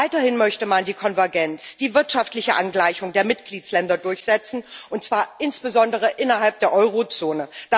Weiterhin möchte man die Konvergenz, die wirtschaftliche Angleichung der Mitgliedstaaten durchsetzen, und zwar insbesondere innerhalb der Eurozone.